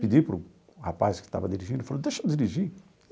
Pedi para o rapaz que estava dirigindo e falei, deixa eu dirigir.